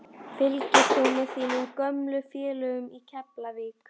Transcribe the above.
Fylgist þú með þínum gömlu félögum í Keflavík?